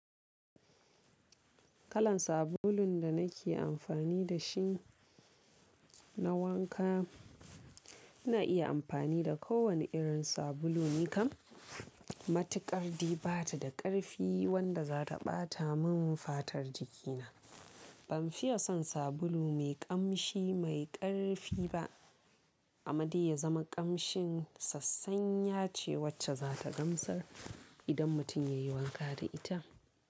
Kalan sabulun da nake amfani da shi na wanka, ina iya amfani da kowane irin sabulu, nikan matuƙarɗi bata da ƙarfi wanda za ta ɓata min fatar jikina. Ban fiye son sabulu mai ƙamshi mai ƙarfi ba, amade ya zama ƙamshin sassanya ce wacce za ta gamsar idan mutum ya yi wanka da ita.